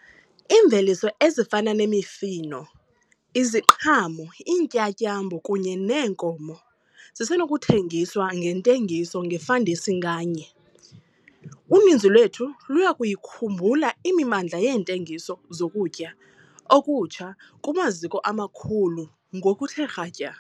Iimveliso ezifana nemifuno, iziqhamo, iintyatyambo kunye neenkomo zisenokuthengiswa ngentengiso - ngefandesi nganye. Uninzi lwethu luya kuyikhumbula imimandla yeentengiso zokutya okutsha kumaziko amakhulu ngokuthe kratya.